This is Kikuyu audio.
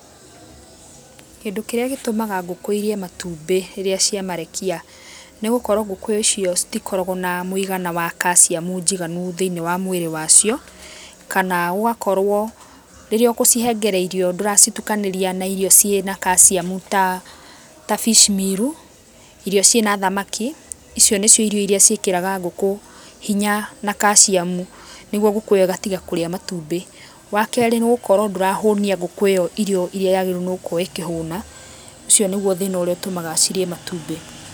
Kĩndũ kĩrĩa gĩtũmaga ngũkũ irĩe matumbĩ rĩrĩa cia marekia nĩ gũkorwo ngũkũ icio citikoragwo na mũigana wa calcium njiganu thĩiniĩ wa mũĩrĩ wa cio kana gũgakorwo rĩrĩa ũkũcihengere irio ndũracitukanĩria na irio cĩ na calcium ta fishmeal, irio cĩna thamaki icio nĩcio irio irĩa cĩkĩraga ngũkũ hinya na calcium niguo ngũkũ ĩyo ĩgatiga kũrĩa matumbĩ. Wa kerĩ nĩgũkorwo ndũrahũnia ngũkũ ĩyo irio irĩa yagĩrĩirwo nĩgũkorwo ĩkĩhũna, ũcio nĩguo thĩna ũrĩa ũtũmaga cirĩe matumbĩ.